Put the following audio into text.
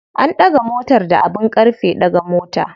An ɗaga motar da abin ƙarfe ɗaga mota.